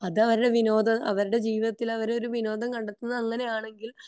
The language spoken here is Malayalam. അതാ അവരുടെ വിനോദ അവരുടെ ജീവിതത്തിൽ അവർ ഒരു വിനോദം കണ്ടെത്തുന്നത് അങ്ങനെ ആണെങ്കിൽ